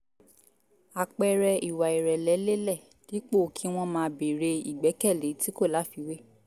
àpẹẹrẹ ìwà ìrẹ̀lẹ̀ lélẹ̀ dípò kí wọ́n máa béèrè ìgbẹ́kẹ̀lé tí kò láfiwé